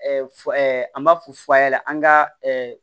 An b'a fɔ f'a ɲɛna an ka